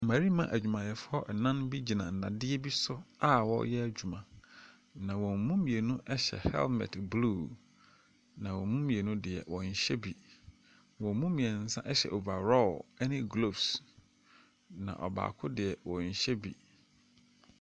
Mmarima adwumayɛfoɔ nnan bi gyina nnadeɛ bi so a wɔreyɛ adwuma, na wɔn mu mmienu hyɛ helmet blue. Na wɔn mu mmienu deɛ, wɔnhyɛ bi. Wɔn mu mmeɛnsa hyɛ over raw ne gloves, na ɔbaako deɛ ɔnhyɛ bi.